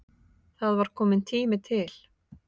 Það var kominn tími til.